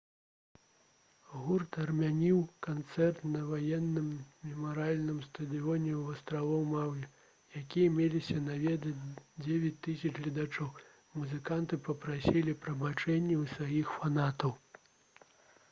гурт адмяніў канцэрт на ваенным мемарыяльным стадыёне вострава маўі які меліся наведаць 9000 гледачоў музыканты папрасілі прабачэння ў сваіх фанатаў